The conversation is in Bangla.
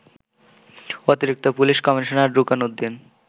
অতিরিক্ত পুলিশ কমিশনার রুকন উদ্দিন